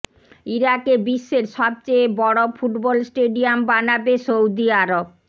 ইরাকে বিশ্বের সবচেয়ে বড় ফুটবল স্টেডিয়াম বানাবে সৌদি আরব